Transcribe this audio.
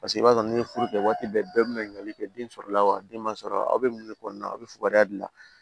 Paseke i b'a sɔrɔ n'i ye furu kɛ waati bɛɛ bɛɛ bɛ ɲakali kɛ den sɔrɔla wa den man sɔrɔ aw bɛ mun de kɔnɔna na aw bɛ fukariya dilan